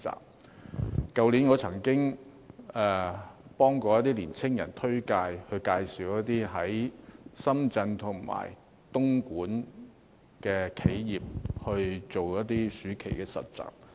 我去年曾經推薦一些年青人到深圳和東莞的企業做暑期實習。